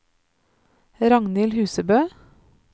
Ragnhild Husebø